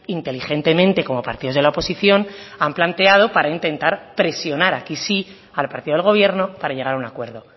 inteligentemente como partidos de la oposición han planteado para intentar presionar aquí sí al partido del gobierno para llegar a un acuerdo